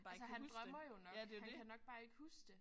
Altså han drømmer jo nok han kan bare ikke huske det